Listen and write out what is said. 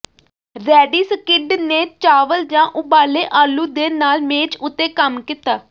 ready ਸਕਿਡ ਨੇ ਚਾਵਲ ਜਾਂ ਉਬਾਲੇ ਆਲੂ ਦੇ ਨਾਲ ਮੇਜ਼ ਉੱਤੇ ਕੰਮ ਕੀਤਾ